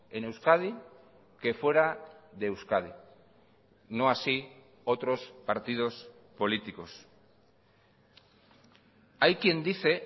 en euskadi que fuera de euskadi no así otros partidos políticos hay quien dice